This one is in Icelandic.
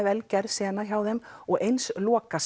vel gerð sena hjá þeim og eins